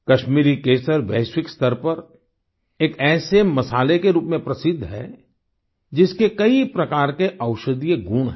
कश्मीरी केसर वैश्विक स्तर पर एक ऐसे मसाले के रूप में प्रसिद्ध है जिसके कई प्रकार के औषधीय गुण हैं